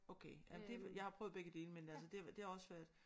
Okay ja det jeg har prøvet begge dele men altså det det har også været